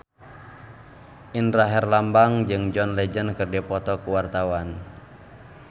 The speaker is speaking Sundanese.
Indra Herlambang jeung John Legend keur dipoto ku wartawan